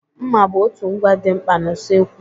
mma bụ otu ngwa dị mkpa na usokwu